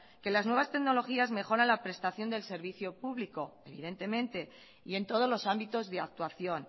que las nuevas tecnologías mejoran la prestación del servicio público evidentemente y en todos los ámbitos de actuación